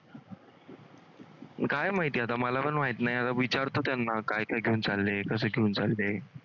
काय माहिती आता मला पण माहित नाही विचारतो त्यांना काय काय घेऊन चालले? कसं घेऊन चालले?